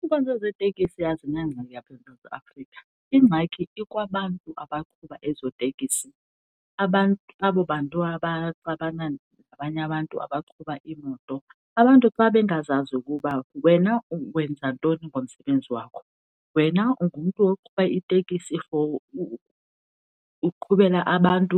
Iinkonzo zeeteksi azinangxaki apha eSouth Afrika. Ingxaki ikwabantu abaqhuba ezo tekisi, abo bantu abaxabana nabanye abantu abaqhuba iimoto. Abantu xa bengazazi ukuba wena wenza ntoni ngomsebenzi wakho, wena ungumntu oqhuba itekisi for uqhubele abantu